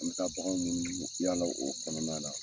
An bi taa bakanw munumunu ,yala o kɔnɔna la.